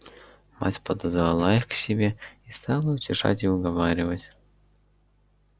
мать подозвала их к себе и стала утешать и уговаривать